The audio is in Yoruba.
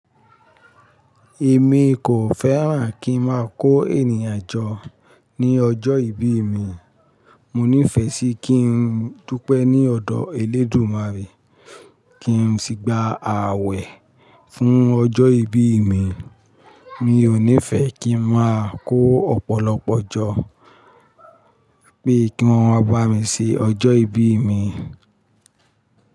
Èmi kò fẹ́ràn kí n máa kó ènìyàn jọ ní ọjọ́ ìbí mi. Mo nífẹ̀ẹ́ sí kí n dupe ní ọ̀dọ̀ Elédùmarè kí n sì gba ààwẹ̀ fún ọjọ́ ìbí mi. Mi ò nífẹ̀ẹ́ kí n máa kó ọ̀pọ̀lọpọ̀ jọ́ pé kí wọ́n máa bá mi ṣe ọjọ́ ìbí mi.